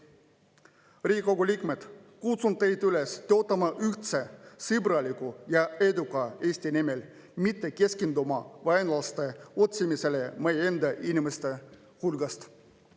Riigikogu liikmed, kutsun teid üles töötama ühtse, sõbraliku ja eduka Eesti nimel, mitte keskenduma vaenlaste otsimisele meie enda inimeste hulgast.